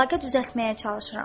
Əlaqə düzəltməyə çalışıram.